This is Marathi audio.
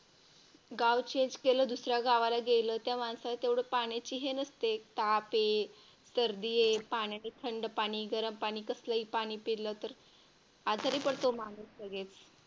गाव Change केलं दुसऱ्या गावाला गेलं त्या माणसाला तेवढा पाण्याची हे नसते. ताप ये तर सर्दी पाण्याने थंड पाणी गरम पाणी कसलेही पाणी पिला तर आजारी पडतो माणूस लगेच.